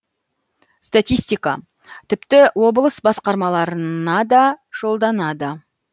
статистика тіпті облыс басқарамаларынада жолданады